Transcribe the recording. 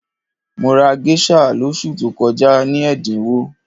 Mo rà géṣà lóṣù tó kọjá ní ẹ̀dínwó